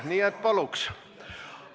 Nii et palun!